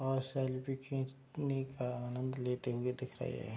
और सेल्फी खींचने का आनंद लेते हुए दिख रहे हैं।